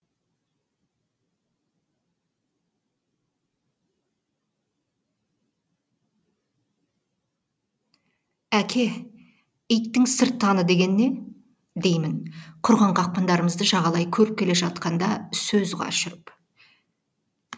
әке иттің сырттаны деген не деймін құрған қақпандарымызды жағалай көріп келе жатқанда сөз қашырып